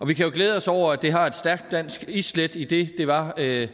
vi kan jo glæde os over at det har et stærkt dansk islæt idet det var herre